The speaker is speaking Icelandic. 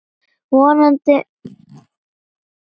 Vonandi heldur þetta svona áfram.